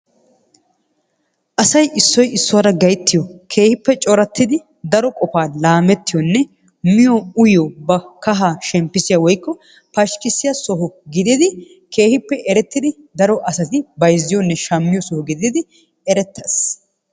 Asay issoy issuwa gayttiyo, keehippe corattidi daro qofa laammettiyonne miyo uyyiyo ba kahaa shemppissiya woykko pashkkissiya soho gidid keehippe erettid daro erettidi daro asati bayzziyoonne shammiyo soho gidid erettees.